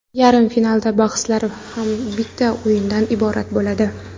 Yarim final bahslari ham bitta o‘yindan iborat bo‘ladi.